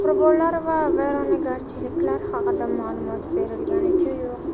Qurbonlar va vayronagarchiliklar haqida ma’lumot berilganicha yo‘q.